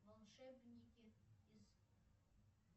волшебники из